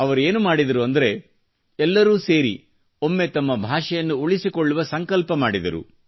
ಅವರೇನು ಮಾಡಿದರು ಅಂದರೆ ಎಲ್ಲರು ಸೇರಿ ಒಮ್ಮೆ ತಮ್ಮ ಭಾಷೆಯನ್ನು ಉಳಿಸಿಕೊಳ್ಳುವ ಸಂಕಲ್ಪ ಮಾಡಿದರು